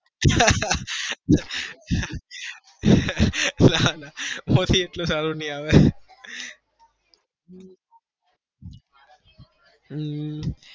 નાં ના એમાં તો એટલું સર નહી અવળે